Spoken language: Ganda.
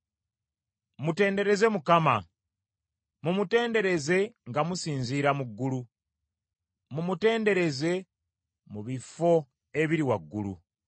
Mutendereze Mukama ! Mumutendereze nga musinziira mu ggulu, mumutenderereze mu bifo ebiri waggulu.